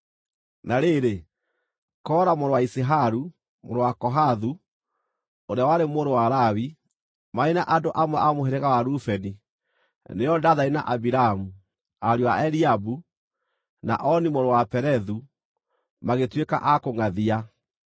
Na rĩrĩ, Kora mũrũ wa Iziharu, mũrũ wa Kohathu, ũrĩa warĩ mũrũ wa Lawi, marĩ na andũ amwe a mũhĩrĩga wa Rubeni nĩo Dathani na Abiramu, ariũ a Eliabu, na Oni mũrũ wa Pelethu, magĩtuĩka a kũngʼathia.